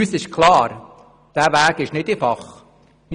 Uns ist klar, dass dieser Weg nicht einfach ist.